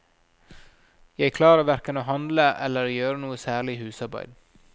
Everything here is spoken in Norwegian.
Jeg klarer hverken å handle eller å gjøre noe særlig husarbeid.